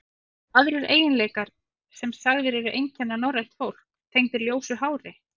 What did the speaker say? Eru aðrir eiginleikar, sem sagðir eru einkenna norrænt fólk, tengdir ljósu hári?